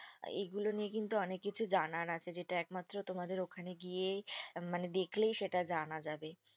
এগুলো নিয়ে কিন্তু অনেককিছু জানার আছে। যেটা একমাত্র তোমাদের ওখানে গিয়েই মানে দেখলেই সেটা জানা যাবে।